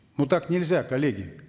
ну так нельзя коллеги